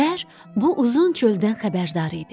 Şər bu uzun çöldən xəbərdar idi.